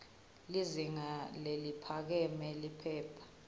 lizinga leliphakeme liphepha